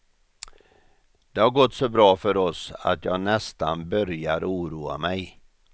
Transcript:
Det har gått så bra för oss att jag nästan börjar oroa mej.